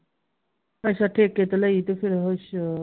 ਅੱਛਾ ਠੇਕੇ ਤੇ ਲਈ ਤੇ ਫਿਰ ਹੱਛਾ